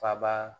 Faba